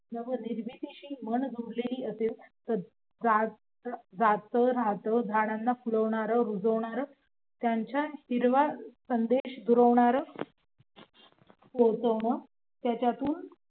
नवनिर्मितीशी मन जोडलेलं असेल तर नातं जात झाडांना पुरवणार छान छान हिरवा संदेश दुरावणार पोहचवण त्याच्यातून